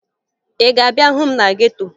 Ị ga-abịa hụ m na geto?